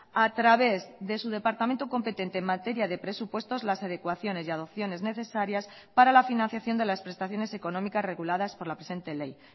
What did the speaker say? a través de su departamento competente en materia de presupuestos las adecuaciones y adopciones necesarias para la financiación de las prestaciones económicas reguladas por la presente ley